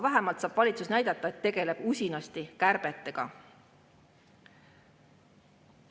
Vähemalt saab valitsus näidata, et tegeleb usinasti kärbetega.